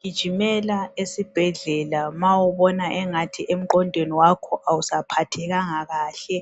Gijimela esibhedlela ma ubona engathi emqondweni wakho awusaphathekanga kahle.